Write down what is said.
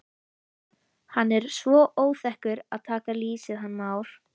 Hann er svo óþekkur að taka lýsið hann Már.